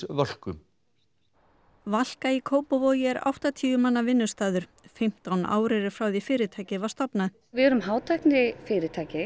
Völku Valka í Kópavogi er áttatíu manna vinnustaður fimmtán ár eru frá því fyrirtækið var stofnað við erum hátæknifyrirtæki